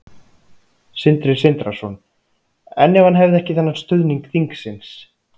Sindri Sindrason: En ef hann hefði ekki þennan stuðning þingsins?